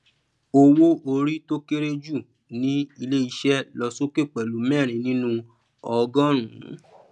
owó orí tó kéré jù ní ilé iṣẹ lọ sókè pẹlú mẹrin nínuu ogọrùnún